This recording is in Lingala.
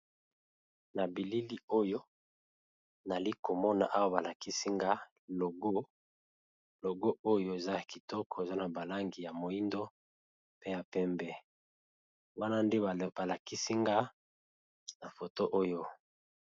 Na bilili oyo nazali komona awa balakisi nga eza logo ya kitoko eza na langi ya moyindo na ya pembe wana nde balakisi nga na foto oyo.